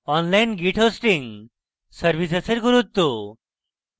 online git hosting services এর গুরুত্ব